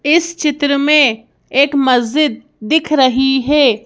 इस चित्र में एक मस्जिद दिख रही है।